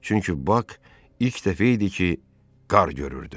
Çünki Bak ilk dəfə idi ki, qar görürdü.